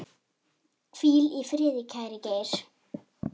Hvíl í friði, kæri Geir.